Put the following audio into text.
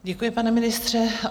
Děkuji, pane ministře.